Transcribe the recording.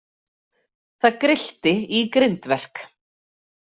Það grillti í grindverk.